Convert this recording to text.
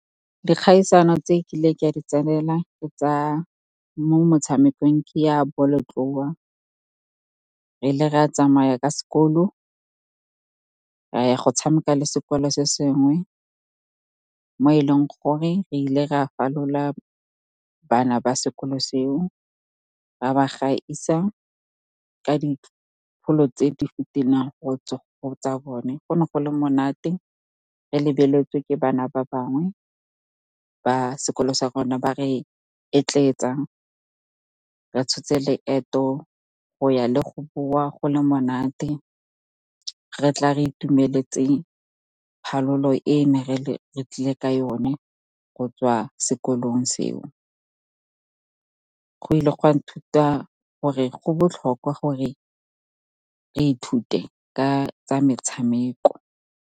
Dikgaisano tse ke kileng ka di tsenela mo motshamekong ke ya bolotloa, re ne ra tsamaya ka sekolo ra ya go tshameka le sekolo se sengwe, mo e leng gore re ile ra falola bana ba sekolo seo, ra ba gaisa ka dipholo tse di godimo go tsa bone. Go ne go le monate, re lebeletswe ke bana ba bangwe ka sekolo sa rona ba re etletsa. Re tshotse leeto go ya le go boa, go le monate, re tla re itumeletse phalolo e re tlileng ka yone go tswa sekolong seo. Go ile ga nthuta gore go botlhokwa gore re ithute ka tsa metshameko.